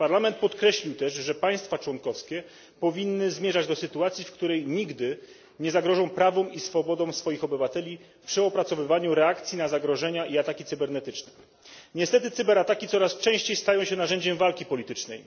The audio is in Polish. Parlament podkreślił też, że państwa członkowskie powinny zmierzać do sytuacji, w której nigdy nie zagrożą prawom i swobodom swoich obywateli przy opracowywaniu reakcji na zagrożenia i ataki cybernetyczne. Niestety cyberataki coraz częściej stają się narzędziem walki politycznej.